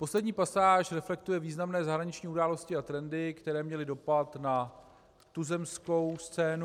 Poslední pasáž reflektuje významné zahraniční události a trendy, které měly dopad na tuzemskou scénu.